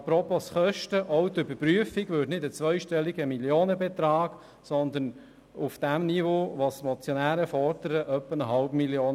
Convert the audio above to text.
Apropos Kosten: Auch die Überprüfung würde nicht einen zweistelligen Millionenbetrag kosten, sondern auf dem Niveau, das die Motionäre fordern, etwa eine halbe Million.